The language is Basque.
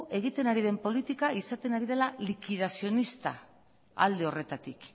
egiten ari den politika izaten ari dela likidazionista alde horretatik